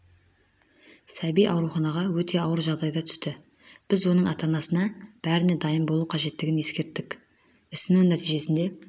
сәби аурухағана өте ауыр жағдайда түсті біз оның ата-анасына бәріне дайын болу қажеттігін ескерттік ісіну нәтижесінде